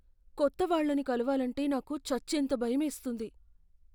కొత్త వాళ్ళను కలవాలంటే నాకు చచ్చేంత భయమేస్తుంది!